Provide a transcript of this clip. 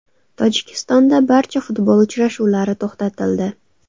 Tojikistonda barcha futbol uchrashuvlari to‘xtatildi.